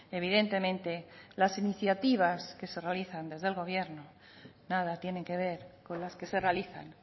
evidentemente las iniciativas que se realizan desde el gobierno nada tienen que ver con las que se realizan